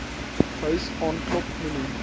huis aanklop moenie